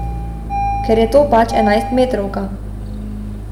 Ker je to pač enajstmetrovka.